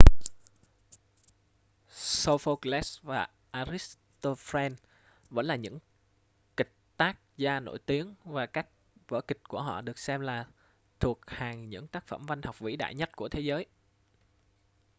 sophocles và aristophanes vẫn là những kịch tác gia nổi tiếng và các vở kịch của họ được xem là thuộc hàng những tác phẩm văn học vĩ đại nhất của thế giới